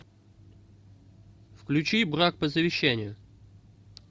включи брак по завещанию